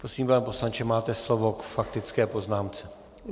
Prosím, pane poslanče, máte slovo k faktické poznámce.